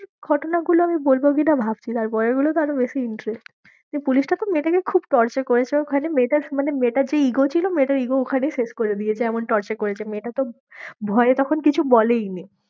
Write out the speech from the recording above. ঘটনাগুলো আমি বলবো কি না ভাবছি, তারপরের গুলোতে আরও বেশি interest পুলিশটা খুব মেয়েটাকে খুব torture করেছে ওখানে মেয়েটার মানে মেয়েটার যে ego ছিল মেয়েটার ego ওখানেই শেষ করে দিয়েছে এমন torture করেছে মেয়েটা তো ভয়ে তখন কিছু বলেইনি।